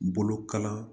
Bolokalan